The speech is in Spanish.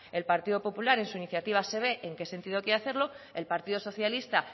el partido popular en su iniciativa se ve en qué sentido quiere hacerlo el partido socialista